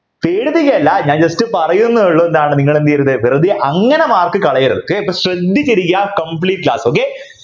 പേടിപ്പിക്കല്ല ഞാൻ just പറയുന്നേയുള്ളൂ ന്താണ് നിങ്ങൾ എന്തു ചെയ്യരുത് വെറുതെ അങ്ങനെ mark കളയരുത് ശ്രദ്ധിച്ചിരിക്കുക complete class okay